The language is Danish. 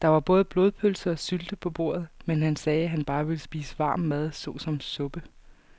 Der var både blodpølse og sylte på bordet, men han sagde, at han bare ville spise varm mad såsom suppe.